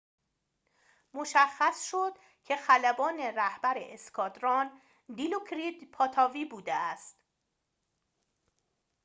مشخص شد که خلبان رهبر اسکادران دیلوکریت پاتاوی بوده است